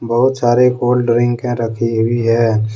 बहुत सारे कोल्ड ड्रिंके रखी हुई है।